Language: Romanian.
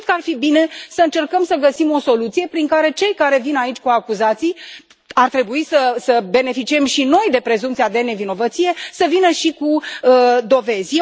Și cred că ar fi bine să încercăm să găsim o soluție prin care cei care vin aici cu acuzații ar trebui să beneficiem și noi de prezumția de nevinovăție să vină și cu dovezi.